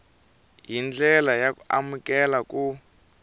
hi ndlela y amukeleka ku